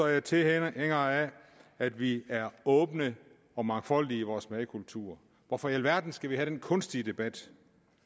jeg tilhænger af at vi er åbne og mangfoldige i vores madkultur hvorfor i alverden skal vi have den kunstige debat